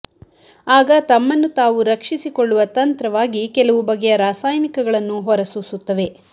ಆಗ ತಮ್ಮನ್ನು ತಾವು ರಕ್ಷಿಸಿಕೊಳ್ಳುವ ತಂತ್ರವಾಗಿ ಕೆಲವು ಬಗೆಯ ರಾಸಾಯನಿಕಗಳನ್ನು ಹೊರಸೂಸುತ್ತವೆ